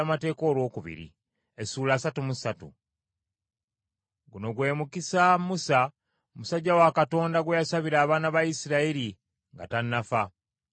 Guno gwe mukisa, Musa musajja wa Katonda gwe yasabira abaana ba Isirayiri nga tannafa.